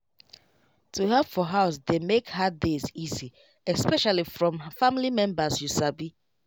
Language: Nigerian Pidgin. to help for house dey make hard days easy especially from family members you sabi